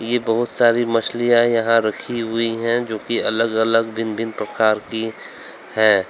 ये बहुत सारी मछलियां यहां रखी हुई है जो की अलग अलग की भिन्न भिन्न प्रकार की हैं।